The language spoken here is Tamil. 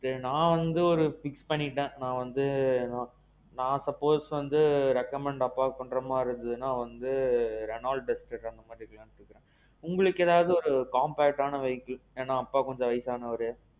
நான் வந்து ஒரு fix பண்ணிட்டேன் நான் வந்து நான் suppose வந்து recommend அப்பா பண்ற மாறி இருந்ததுனா வந்து Renault எடுக்கலாம்னு சொல்றேன். உங்களுக்கு ஏதாவது compact ஆன vehicle தெரியுமா, ஏன்னா அப்பா கொஞ்சம் வயசானவரு.